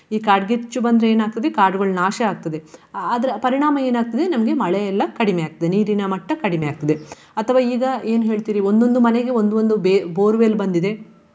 ಈ ಕಾಡ್ಗಿಚ್ಚು ಬಂದ್ರೆ ಏನಾಗ್ತದೆ ಕಾಡುಗಳು ನಾಶ ಆಗ್ತದೆ. ಅದ್ರ ಪರಿಣಾಮ ಏನಾಗ್ತದೆ ನಮ್ಗೆ ಮಳೆ ಎಲ್ಲ ಕಡಿಮೆ ಆಗ್ತದೆ ನೀರಿನ ಮಟ್ಟ ಕಡಿಮೆ ಆಗ್ತದೆ. ಅಥವಾ ಈಗ ಏನು ಹೇಳ್ತೀರಿ ಒಂದೊಂದು ಮನೆಗೆ ಒಂದು ಒಂದು ಬೇ~ borewell ಬಂದಿದೆ.